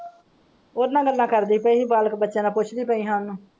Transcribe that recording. ਉਹਦੇ ਨਾਲ ਗੱਲਾਂ ਕਰਦੀ ਪਈ ਸੀ ਬਾਲਕ ਬੱਚਿਆਂ ਨਾਲ ਪੁੱਛਦੀ ਪਈ ਹਾਂ ਉਹਨੂੰ।